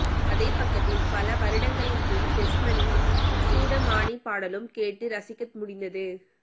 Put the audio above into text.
அதே பக்கத்தில் பல வருடங்களின் பின் டெஸ்மனின் சூடமானிக் பாடலும் கேட்டு இரசிக்க முடிந்தது